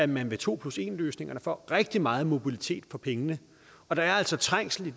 man med to plus en løsningerne får rigtig meget mobilitet for pengene og der er altså trængsel i